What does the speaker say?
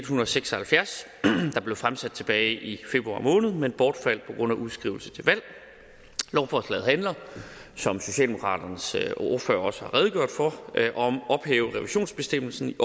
hundrede og seks og halvfjerds der blev fremsat tilbage i februar måned men som bortfaldt på grund af udskrivelsen til valg lovforslaget handler som socialdemokraternes ordfører også har redegjort for om at ophæve revisionsbestemmelsen